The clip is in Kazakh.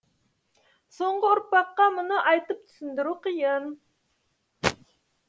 соңғы ұрпаққа мұны айтып түсіндіру қиын